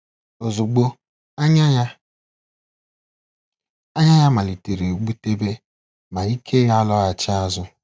Ozugbo, "anya ya "anya ya malitere gbutebe, ma ike ya alọghachi azụ.